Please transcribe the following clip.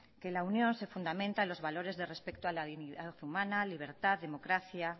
que la unión se fundamenta en los valores de respeto a la dignidad humana libertad democracia